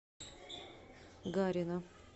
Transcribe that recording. гарина